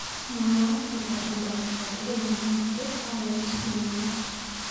Mwawa akobo tumndo akatukul neyaakse arawet nenyone.